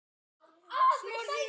sagði Jakob.